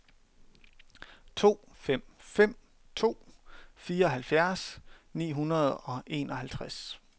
to fem fem to fireoghalvfjerds ni hundrede og enoghalvtreds